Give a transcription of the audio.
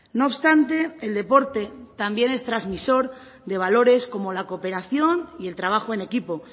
no obstante el deporte también es trasmisor de valores como la cooperación y el trabajo en equipo